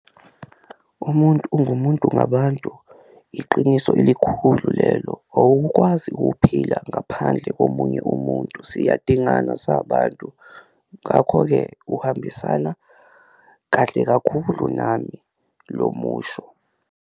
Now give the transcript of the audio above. Umuntu ungumuntu ngabantu iqiniso elikhulu lelo, awukwazi ukuphila ngaphandle komunye umuntu siyadingana singabantu ngakho-ke uhambisana kahle kakhulu nami lo musho.